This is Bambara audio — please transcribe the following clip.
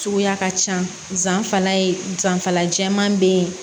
Suguya ka ca zan fana zanfala jɛman be ye